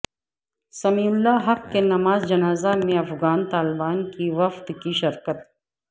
سمیع الحق کی نماز جنازہ میں افغان طالبان کے وفد کی شرکت